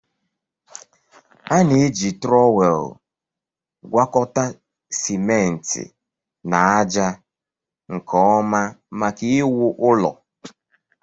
A na-eji trọwel gwakọta simenti na ájá nke ọma maka iwu ụlọ